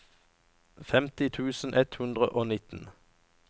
femti tusen ett hundre og nitten